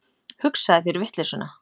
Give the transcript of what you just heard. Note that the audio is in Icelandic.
Hugsaðu þér vitleysuna.